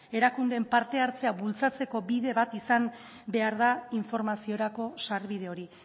erakundeen parte hartzea bultzatzeko bide bat izan behar da informaziorako sarbide hori